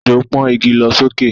Ejò pọ́n igi lọ sókè